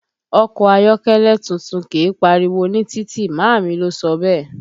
Ọkọ ayọ́kẹ́lẹ́ tuntun kìí pariwo ní títì, màámi ló sọ bẹ́ẹ̀